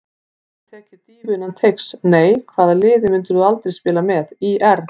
Hefurðu tekið dýfu innan teigs: Nei Hvaða liði myndir þú aldrei spila með: ÍR